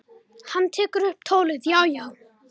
Hann tekur upp tólið: Já, já.